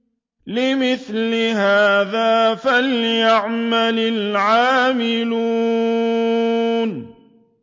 لِمِثْلِ هَٰذَا فَلْيَعْمَلِ الْعَامِلُونَ